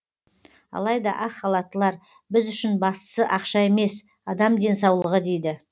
алайда ақ халаттылар біз үшін бастысы ақша емес адам денсаулығы дейді